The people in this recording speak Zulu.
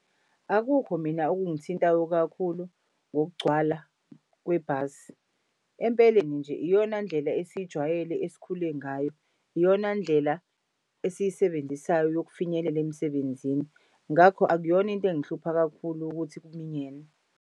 Akukho mina okungithintayo kakhulu ngokugcwala kwebhasi. Empeleni nje iyona ndlela esiyijwayele esikhule ngayo. Iyona ndlela esiyisebenzisayo yokufinyelela emsebenzini. Ngakho akuyona into engihlupha kakhulu ukuthi kuminyene.